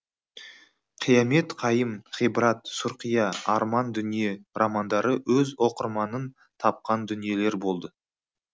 қиямет қайым ғибрат сұрқия арман дүние романдары өз оқырманын тапқан дүниелер болды